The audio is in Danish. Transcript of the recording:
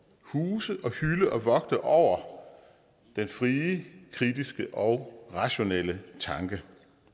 huse og hylde og vogte over den frie kritiske og rationelle tanke